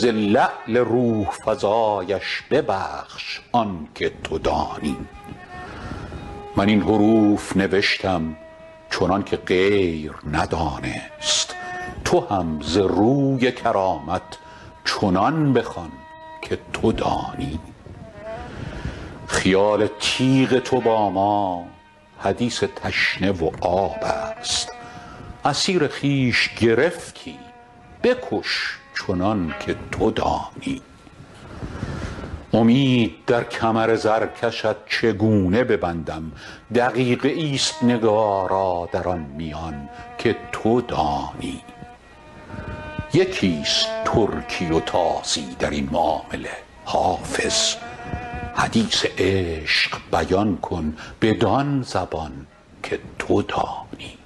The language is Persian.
ز لعل روح فزایش ببخش آن که تو دانی من این حروف نوشتم چنان که غیر ندانست تو هم ز روی کرامت چنان بخوان که تو دانی خیال تیغ تو با ما حدیث تشنه و آب است اسیر خویش گرفتی بکش چنان که تو دانی امید در کمر زرکشت چگونه ببندم دقیقه ای است نگارا در آن میان که تو دانی یکی است ترکی و تازی در این معامله حافظ حدیث عشق بیان کن بدان زبان که تو دانی